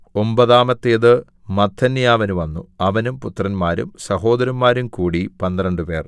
ഒമ്പതാമത്തേത് മത്ഥന്യാവിന് വന്നു അവനും പുത്രന്മാരും സഹോദരന്മാരും കൂടി പന്ത്രണ്ടുപേർ